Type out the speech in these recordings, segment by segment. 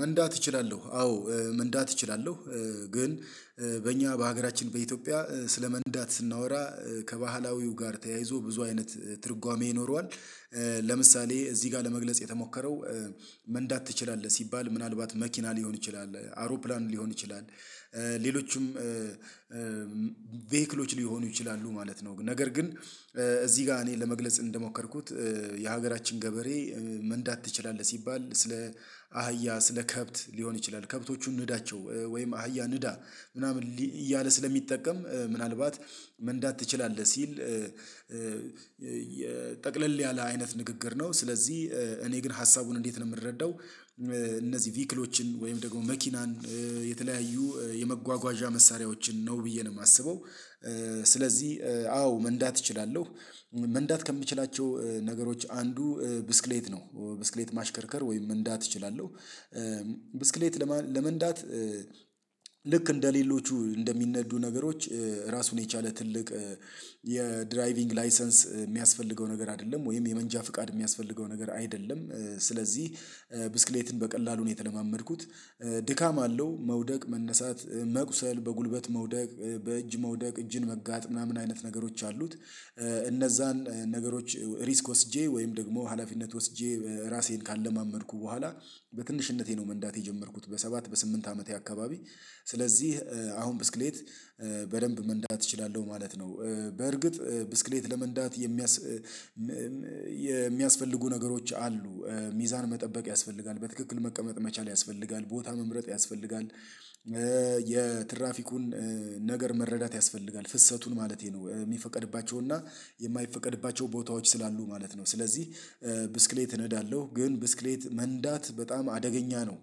መንዳት እችላለሁ አዎ መንዳት እችላለሁ። ግን በእኛ በሀገራችን በኢትዮጵያ ስለመንዳት ስናወራ ከባህላዊው ጋር ተያይዞ ብዙ አይነት ትርጓሜ ይኖረዋል። ለምሳሌ እዚህ ጋር ለመግለጽ የተሞከረው። መንዳት ትችላለህ ሲባል ምናልባት መኪና ሊሆን ይችላል አውሮፕላን ሊሆን ይችላል ሌሎችም ቬህክሎች ሊሆኑ ይችላሉ ማለት ነው። ነገር ግን እዚህ ጋር እኔ ለመግለጽ እንደሞከርኩት የሀገራችን ገበሬ። መንዳት ትችላለህ ሲባል ስለ አህያ ስለ ከብት ሊሆን ይችላል ከብቶቹ ንዳቸው ወይም አህያ ንዳ ምናምን እያለ ስለሚጠቀም ምናልባት መንዳት ትችላለህ ሲል። ጠቅለል ያለ አይነት ንግግር ነው። ስለዚህ እኔ ግን ሀሳቡን እንዴት ነው የምረዳው? እነዚህ ቪክሎችን ወይም ደግሞ መኪናን የተለያዩ የመጓጓዣ መሳሪያዎችን ነው ብዬ ነው የማስበው። ስለዚህ አዎ መንዳት እችላለሁ። መንዳት ከምችላቸው ነገሮች አንዱ ብስክሌት ነው ብስክሌት ማሽከርከር ወይም እንዳት እችላለሁ። ብስክሌት ለመንዳት ልክ እንደሌሎቹ እንደሚነዱ ነገሮች ራሱን የቻለ ትልቅ የድራይቪንግ ላይሰንስ የሚያስፈልገው ነገር አይደለም ወይም የመንጃ ፍቃድ የሚያስፈልገው ነገር አይደለም። ስለዚህ ብስክሌትን በቀላሉ ነው የተለማመድኩት። ድካም አለው መውደቅ መነሳት መቁሰል በጉልበት መውደቅ በእጅ መውደቅ እጅን መጋጥ ምናምን አይነት ነገሮች አሉት። እነዛን ነገሮች ሪስክ ወስጄ ወይም ደግሞ ሀላፊነት ወስጄ ራሴን ካለማመድኩ በኋላ በትንሽነቴ ነው መንዳት የጀመርኩት በሰባት በስምንት አመቴ አካባቢ። ስለዚህ አሁን ብስክሌት በደንብ መንዳት እችላለሁ ማለት ነው። በርግጥ ብስክሌት ለመንዳት የሚያስ የሚያስፈልጉ ነገሮች አሉ። ሚዛን መጠበቅ ያስፈልጋል በትክክል መቀመጥ መቻል ያስፈልጋል ቦታ መምረጥ ያስፈልጋል። የትራፊኩን ነገር መረዳት ያስፈልጋል ፍሰቱን ማለቴ ነው የሚፈቀድባቸውና የማይፈቀድባቸው ቦታዎች ስላሉ ማለት ነው። ስለዚህ ብስክሌት እነዳለሁ ግን ብስክሌት መንዳት በጣም አደገኛ ነው።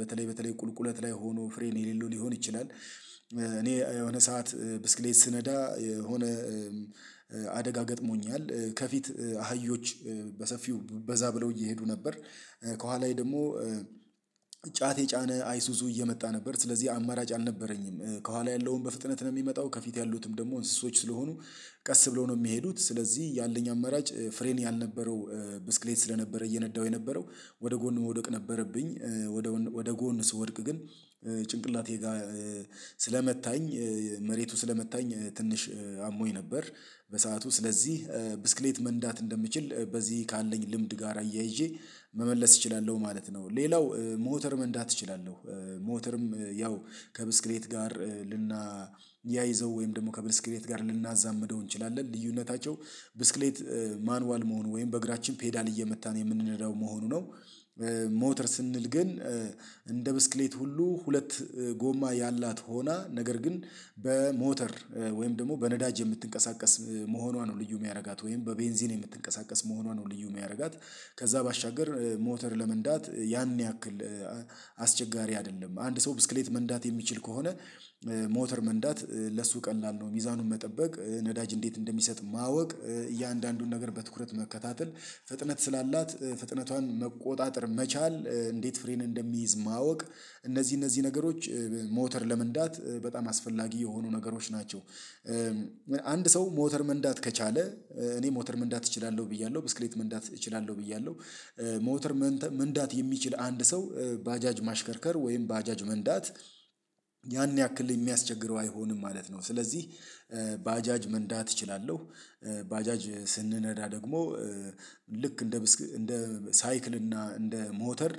በተለይ በተለይ ቁልቁለት ላይ ሆኖ ፍሬን የሌለው ሊሆን ይችላል። እኔ የሆነ ሰዓት ብስክሌት ስነዳ የሆነ አደጋ ገጥሞኛል ከፊት አህዮች በሰፊው በዛ ብለው እየሄዱ ነበር። ከኋላዬ ደግሞ ጫት የጫነ አይሱዙ እየመጣ ነበር ስለዚህ አማራጭ አልነበረኝም ከኋላ ያለውን በፍጥነት ነው የሚመጣው ከፊት ያሉትም ደግሞ እንስሶች ስለሆኑ ቀስ ብለው ነው የሚሄዱት ስለዚህ ያለኝ አመራጭ ፍሬን ያልነበረው ብስክሌት ስለነበረ እየነዳሁ የነበረው ወደ ጎን መውደቅ ነበረብኝ። ወደ ጎን ስወድቅ ግን ጭንቅላቴ ጋር ስለመታኝ መሬቱ ስለመታኝ ትንሽ አሞኝ ነበር። በሰአቱ ስለዚህ ብስክሌት መንዳት እንደምችል በዚህ ካለኝ ልምድ ጋር አያይዤ መመለስ እችላለሁ ማለት ነው። ሌላው ሞተርም መንዳት እችላለሁ። ሞተርም ያው ከብስክሌት ጋር ልናያይዘው ወይም ደግሞ ከብስክሌት ጋር ልናዛምደው እንችላለን ልዩነታቸው ብስክሌት ማኑዋል መሆኑ ወይም በእግራችን ፔዳል እየመታን የምንለው መሆኑ ነው። ሞተር ስንል ግን እንደ ብስክሌት ሁሉ ሁለት ጎማ ያላት ሆና ነገር ግን በሞተር ወይም ደግሞ በነዳጅ የምትንቀሳቀስ መሆኗ ነው ልዩ የሚያደርጋት ወይም በቤንዚን የምትንቀሳቀስ መሆኗ ነው ልዩ የሚያደርጋት። ከዛ ባሻገር ሞተር ለመንዳት ያን ያክል አስቸጋሪ አይደለም አንድ ሰው ብስክሌት መንዳት የሚችል ከሆነ። ሞተር መንዳት ለሱ ቀላል ነው። ሚዛኑን መጠበቅ ነዳጅ እንዴት እንደሚሰጥ ማወቅ እያንዳንዱን ነገር በትኩረት መከታተል ፍጥነት ስላላት ፍጥነቷን መቆጣጠር መቻል እንዴት ፍሬን እንደሚይዝ ማወቅ እነዚህ እነዚህ ነገሮች ሞተር ለመንዳት በጣም አስፈላጊ የሆኑ ነገሮች ናቸው። ሰው ሞተር መንዳት ከቻለ እኔ ሞተር መንዳት እችላለሁ ብያለሁ ብስክሌት መንዳት እችላለሁ ብያለሁ። ሞተር መንዳት የሚችል አንድ ሰው ባጃጅ ማሽከርከር ወይም ባጃጅ መንዳት ያን ያክል የሚያስቸግረው አይሆንም ማለት ነው። ስለዚህ ባጃጅ መንዳት እችላለሁ። ባጃጅ ስንነዳ ደግሞ ልክ እንደ እንደ ሳይክል እና እንደ ሞተር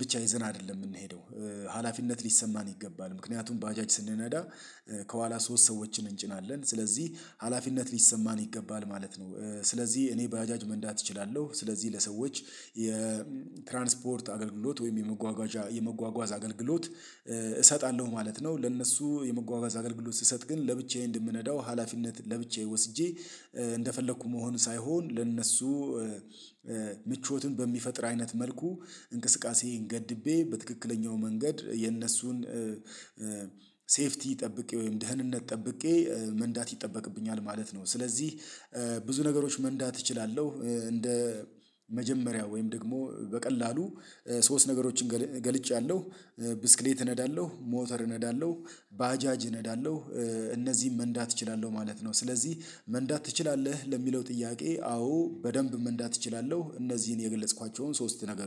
ብቻ ይዘን አይደለም የምንሄደው። ሀላፊነት ሊሰማን ይገባል ምክንያቱም በአጃጅ ስንነዳ ከኋላ ሶስት ሰዎችን እንጭናለን ስለዚህ ሀላፊነት ሊሰማን ይገባል ማለት ነው። ስለዚህ እኔ ባጃጅ መንዳት እችላለሁ ስለዚህ ለሰዎች የትራንስፖርት አገልግሎት ወይም የመጓጓዣ የመጓጓዝ አገልግሎት። እሰጣለሁ ማለት ነው። ለእነሱ የመጓጓዝ አገልግሎት ስሰጥ ግን ለብቻዬ እንደምነዳው ሀላፊነት ለብቻዬ ወስጄ እንደፈለኩ መሆን ሳይሆን ለእነሱ ምቾቱን በሚፈጥር አይነት መልኩ እንቅስቃሴን ገድቤ በትክክለኛው መንገድ የነሱን ሴፍቲ ጠብቄ ወይም ደህንነት ጠብቄ መንዳት ይጠበቅብኛል ማለት ነው። ስለዚህ ብዙ ነገሮች መንዳት እችላለሁ። እንደ መጀመሪያው ወይም ደግሞ በቀላሉ ሶስት ነገሮችን ገልጫለሁ ብስክሌት እነዳለሁ ሞተር እነዳለሁ ባጃጅ ነዳለሁ። እነዚህን መንዳት እችላለሁ ማለት ነው። ስለዚህ መንዳት ትችላለህ ለሚለው ጥያቄ አዎ በደንብ መንዳት እችላለሁ እነዚህን የገለጽኳቸውን ሶስት ነገር